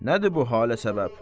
Nədir bu halə səbəb?